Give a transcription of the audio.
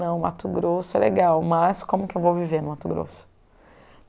Não, Mato Grosso é legal, mas como que eu vou viver no Mato Grosso?